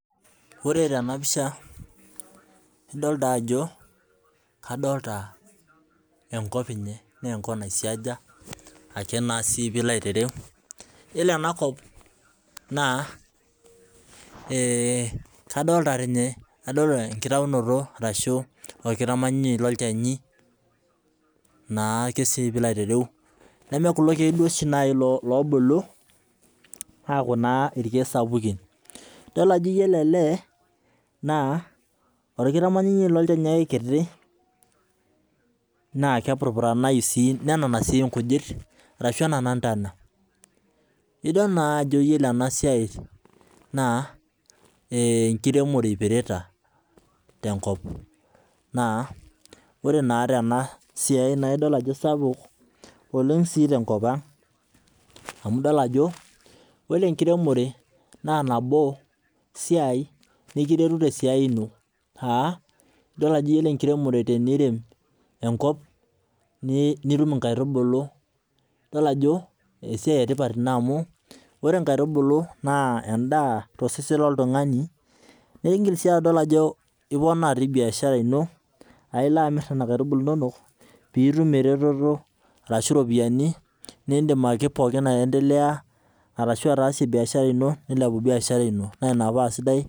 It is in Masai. Ore tena pisha kadolita enkop naa enkop naisiaja Ake naa sii. Ore ena kop nadolita orkitamanyunoto lolchani. Neme kulo keek oobulu aaku irkeek sapukin nidol ajo orkitamanyunyei lolchani naa kepurupuranayu sii nenana ntonat. Idol ajo ore ena siai enkiremore ipirita tenkop naa ore tena siai naa sapuk oleng tenkop ang. Ore enkiremore naa ekiret oleng te siai ino. Ore tenirem enkop nitum inkaitubulu, ore inkaitubulu naa endaa tosesen loltungani niponaa sii {biashara} ino aa ilo amirr nena aitubulu inonok nitum iropiyiani.